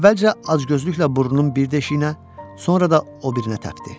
Əvvəlcə acgözlüklə burnunun bir deşiyinə, sonra da o birinə təpdi.